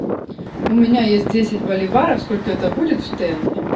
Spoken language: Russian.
у меня есть десять боливаров сколько это будет в тенге